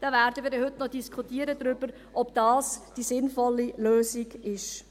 Wir werden heute noch darüber diskutieren, ob das die sinnvolle Lösung ist.